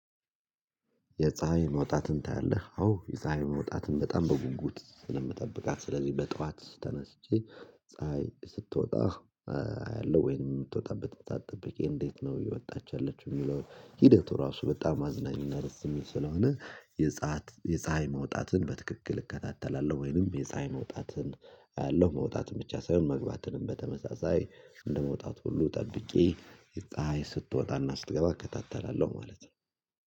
የፀሀይ መውጣትን ታያለህ? አዎ የፀሀይ መውጣትን በጣም በጉጉት ስለምትጠብቃት ስለዚህ በጠዋት ተነስቼ ፀሀይ ስትወጣ አያለሁ። አለው ወይንም የምትወጣበት ጥበቃ ጠብቄ እንዴት ነው የወጣችው የሚለው? ሂደቱ ራሱ በጣም አዝናኝና ርዝም ስለሆነ። የፀሀይ የፀሀይ መውጣትን በትክክል እከታተላለሁ። ወይንም የፀሀይ መውጣትን። አያለሁ መውጣትን ብቻ ሳይሆን መግባትንም በተመሳሳይ እንደመውጣቱ ሁሉ ጠብቄ ይጣይ ስትወጣና ስትገባ እከታተላለሁ። ማለት ነው።